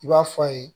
I b'a fɔ a ye